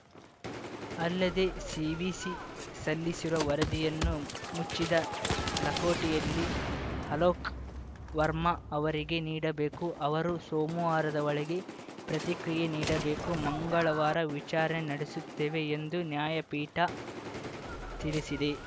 ಅಲ್ಲದೆ ಸಿವಿಸಿ ಸಲ್ಲಿಸಿರುವ ವರದಿಯನ್ನು ಮುಚ್ಚಿದ ಲಕೋಟೆಯಲ್ಲಿ ಅಲೋಕ್‌ ವರ್ಮಾ ಅವರಿಗೆ ನೀಡಬೇಕು ಅವರು ಸೋಮವಾರದ ಒಳಗೆ ಪ್ರತಿಕ್ರಿಯೆ ನೀಡಬೇಕು ಮಂಗಳವಾರ ವಿಚಾರಣೆ ನಡೆಸುತ್ತೇವೆ ಎಂದು ನ್ಯಾಯಪೀಠ ತಿಳಿಸಿದೆ